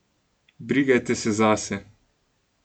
Brigajte se zase!